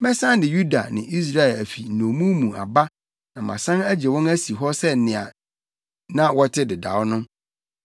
Mɛsan de Yuda ne Israel afi nnommum mu aba na masan agye wɔn asi hɔ sɛ nea na wɔte dedaw no.